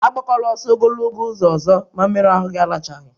A gbakwala ọsọ ogologo ụzọ ọzọ ma mmeru ahụ gị alachaghị!